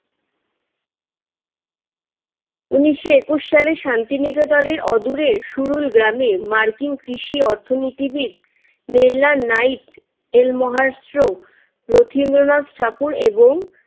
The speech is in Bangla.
উনিশশো একুশ সালে শান্তিনিকেতনের অদূরে সুরুল গ্রামে মার্কিন কৃষি অর্থনীতিবিদ মেলারনাইট এর মহাস্ত্র রথীন্দ্রনাথ ঠাকুর এবং